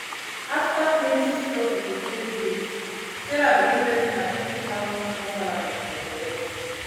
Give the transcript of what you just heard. after plenty struggle to pay bills sarah begin vex say na twenty thousand small salary she dey collect